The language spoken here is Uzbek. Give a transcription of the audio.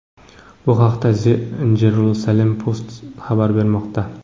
Bu haqda The Jerusalem Post xabar bermoqda .